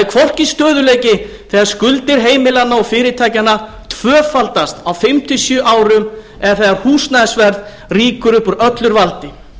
hvorki stöðugleiki þegar skuldir heimilanna og fyrirtækjanna tvöfaldast á fimm til sjö árum eða þegar húsnæðisverð rýkur upp úr öllu valdi